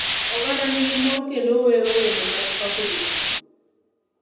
Oganda ni gi mor kendo gi wero wende mag pako jtugo